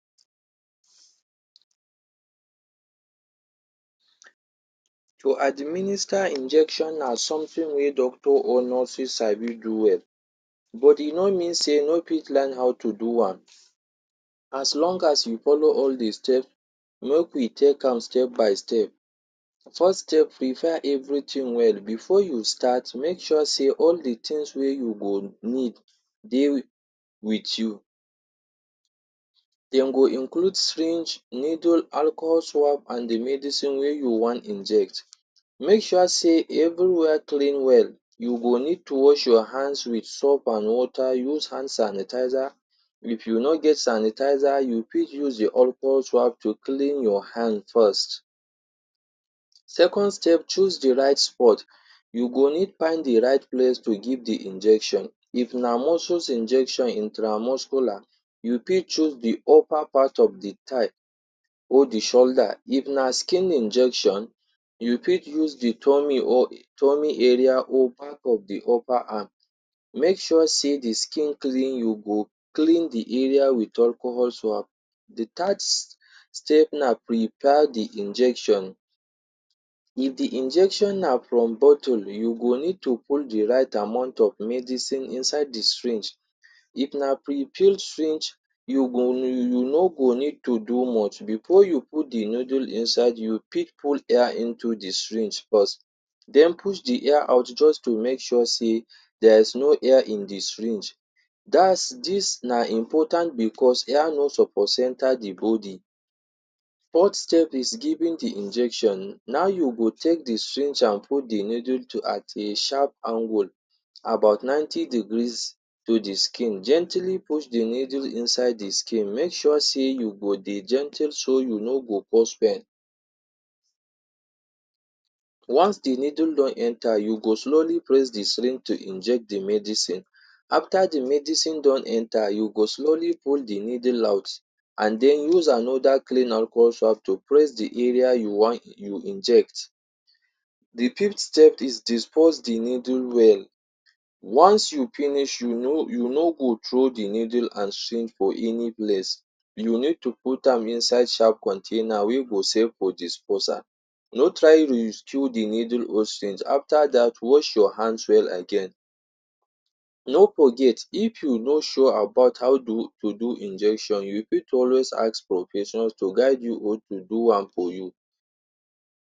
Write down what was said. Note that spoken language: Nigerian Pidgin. To administer injection na something wey doctors or nurse fit sabi do well but e no mean sey you no fit learn how to do am, as long as you follow all de step make we take am step by step. First step, prepare everything thing well. Before you start make sure sey all de things wey you go need dey wit you. Dem go include syringe, needle, alcohol, swap and medicine wey you wan inject. Make sure sey everywhere clean well, you go need to wash your hands with soap and water. Use hand sanitizer, if you no get sanitizer you fit use your alcohol swap to clean your hand first. Second step, choose the right spot. You go need find de right place to give de injection. If na muscles injection intramuscular, you fit use de choose de upper part of de thigh or de shoulder, if na skin injection you fit choose the tummy or um tummy area or part of de upper arm. Make sure sey de skin clean, you go clean de area wit alcohol swap. The third step na prepare de injection. If de injection na from bottle you go need to put de right amount of medicine inside de syringe. If na prefilled syringe you go you you no go need to do much. Before you put de needle inside, you fit put air into de syringe first, den push de air out just to make sure sey there is no air in de syringe. Dats dis na important because air no suppose enter de body. Fourth step is giving de injection. Now you go take de syringe and put de needle to at a sharp angle about 90 degrees to de skin, gently push de needle inside de skin, make sure sey you go dey gently so you no go cause pain. Once de needle don enter you go slowly press the syringe to inject de medicine. After de medicine don enter, you go slowly pull de needle out and then use another clean alcohol swap to press de area you wan you inject. The fifth step is dispose de needle well. Once you finish you no you no go throw de needle and syringe for any place, you need to put am inside sharp container wey go safe for disposal. No try reuse de needle or syringe. After dat wash you hands well again. No forget if you no sure about how do to do injection, you fit always ask professions to guide you or to do am for you.